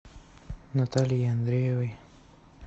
натальей андреевой